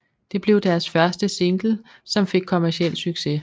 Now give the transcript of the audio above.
Det blev deres første single som fik kommerciel succes